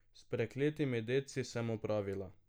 S prekletimi dedci sem opravila.